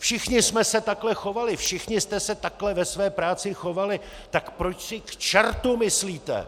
Všichni jsme se takhle chovali, všichni jste se takhle ve své práci chovali, tak proč si k čertu myslíte,